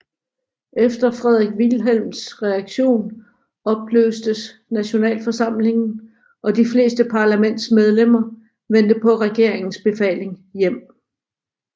Efter Frederik Wilhelms reaktion opløstes nationalforsamlingen og de fleste parlamentsmedlemmer vendte på regeringens befaling hjem